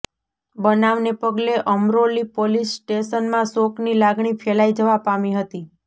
બનાવને પગલે અમરોલી પોલીસ સ્ટેશનમાં શોકની લાગણી ફેલાઈ જવા પામી હતી